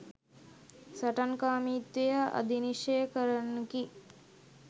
සටන්කාමීත්වය අධිනිශ්චය කරන්නකි.